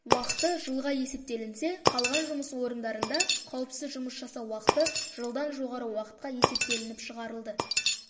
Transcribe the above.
уақыты жылға есептелінсе қалған жұмыс орындарында қауіпсіз жұмыс жасау уақыты жылдан жоғары уақытқа есептелініп шығарылды